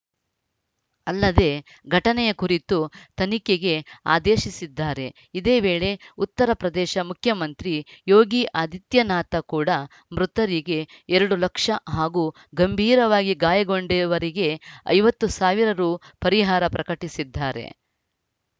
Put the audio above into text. ಅಲ್ಲದೆ ಘಟನೆಯ ಕುರಿತು ತನಿಖೆಗೆ ಆದೇಶಿಸಿದ್ದಾರೆ ಇದೇ ವೇಳೆ ಉತ್ತರಪ್ರದೇಶ ಮುಖ್ಯಮಂತ್ರಿ ಯೋಗಿ ಆದಿತ್ಯನಾಥ ಕೂಡ ಮೃತರಿಗೆ ಎರಡು ಲಕ್ಷ ಹಾಗೂ ಗಂಭೀರವಾಗಿ ಗಾಯಗೊಂಡಿವರಿಗೆ ಐವತ್ತು ಸಾವಿರರೂಪಾಯಿ ಪರಿಹಾರ ಪ್ರಕಟಿಸಿದ್ದಾರೆ